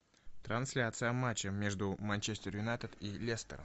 трансляция матча между манчестер юнайтед и лестер